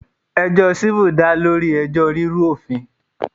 Ẹjọ́ civil dá lórí ẹjọ́ rírú òfin.